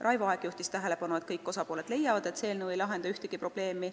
Raivo Aeg juhtis tähelepanu, et kõik osapooled leiavad, et see eelnõu ei lahenda ühtegi probleemi.